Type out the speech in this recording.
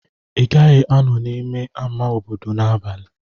Ị gaghị anọ n'ime ama obodo n'abalị.